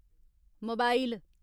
mobile